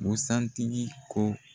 Busan tigi ko